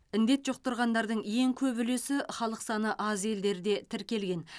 індет жұқтырғандардың ең көп үлесі халық саны аз елдерде тіркелген